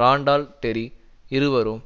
Randall Terry இருவரும்